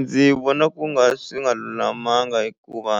Ndzi vona ku nga swi nga lulamanga hikuva